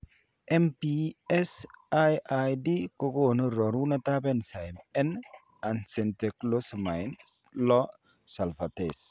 MPS IID ko gonu rorunetab enzyme N acetyglucosamine 6 sulfatase